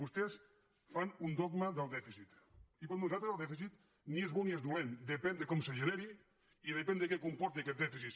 vostès fan un dogma del dèficit i per nosaltres el dèficit ni és bo ni és dolent depèn de com es generi i depèn de què comporti aquest dèficit